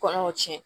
Kɔnɔw tiɲɛ